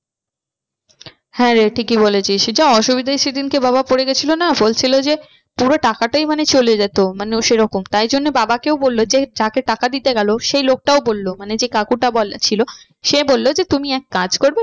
হ্যাঁ রে ঠিকই বলেছিস যা অসুবিধায় সে দিনকে বাবা পড়ে গিয়েছিলো না বলছিলো যে মানে পুরো টাকাটাই মানে চলে যেত মানে ও সে রকম তাই জন্য বাবাকেও বললো যে যাকে টাকা দিতে গেলো সেই লোকটাও বললো মানে যে কাকুটা ছিল সে বললো যে তুমি এক কাজ করবে